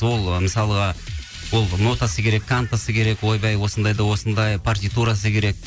ол мысалға ол нотасы керек кантасы крек ойбай осындай да осындай партитурасы керек